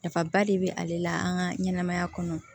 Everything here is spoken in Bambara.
Nafaba de be ale la an ka ɲɛnɛmaya kɔnɔ